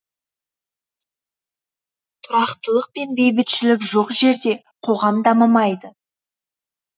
тұрақтылық пен бейбітшілік жоқ жерде қоғам дамымайды